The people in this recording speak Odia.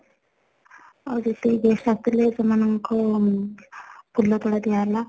ଆଉ ଯେତିକି guest ଆସି ଥିଲେ ସେମାନ ଙ୍କୁ ଫୁଲତୋଡ଼ା ଦିଆ ହେଲା